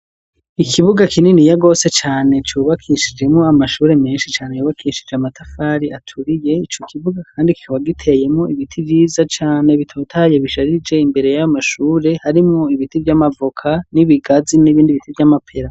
Ikibuga kininiya gose cane cubakishijemwo amashure menshi cane yubakishije amatafari aturiye ico kibuga kandi kikaba giteyemwo ibiti vyiza cane bitotaye bisharije imbere y'amashure harimwo ibiti vy'amavoka n'ibigazi nibindi ibiti vy'amapera.